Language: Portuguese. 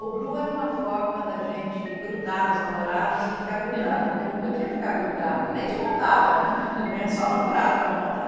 O blue era uma forma da gente grudar nos namorados e ficar grudada, porque não podia ficar grudada, nem de mão dada, só namorado ficava de mão dada.